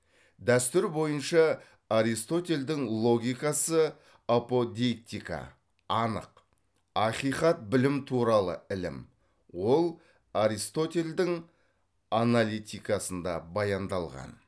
дәстүр бойынша аристотельдің логикасы аподейктика анық ақиқат білім туралы ілім ол аристотельдің аналитикасында баяндалған